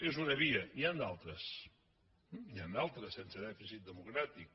és una via n’hi han d’altres n’hi han d’altres sense dèficit democràtic